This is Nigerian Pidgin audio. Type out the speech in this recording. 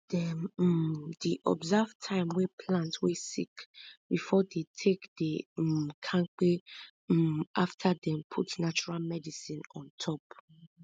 dem um di observe time wey plant wey sick before dey take dey um kampe um after dem put natural medicine on top